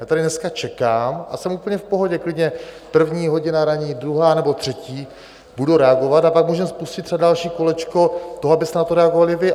Já tady dneska čekám a jsem úplně v pohodě, klidně první hodina ranní, druhá nebo třetí, budu reagovat, a pak můžeme spustit třeba další kolečko toho, abyste na to reagovali vy.